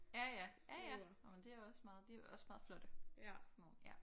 Ja ja. Ja ja Nå men det er også meget de er også meget flotte sådan nogle